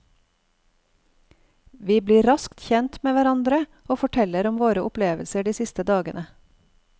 Vi blir raskt kjent med hverandre, og forteller om våre opplevelser de siste dagene.